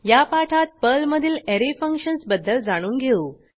या पाठात पर्लमधील अरे फंक्शन्स बद्दल जाणून घेऊ